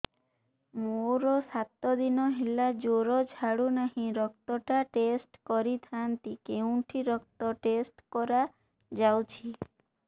ମୋରୋ ସାତ ଦିନ ହେଲା ଜ୍ଵର ଛାଡୁନାହିଁ ରକ୍ତ ଟା ଟେଷ୍ଟ କରିଥାନ୍ତି କେଉଁଠି ରକ୍ତ ଟେଷ୍ଟ କରା ଯାଉଛି